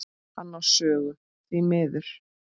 Hann á sögu, því miður.